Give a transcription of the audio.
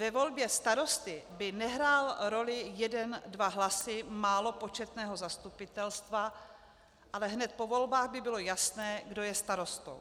Ve volbě starosty by nehrály roli jeden dva hlasy málo početného zastupitelstva, ale hned po volbách by bylo jasné, kdo je starostou.